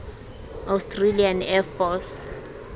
australian air force